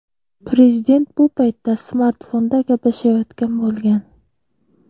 Prezident bu paytda smartfonda gaplashayotgan bo‘lgan.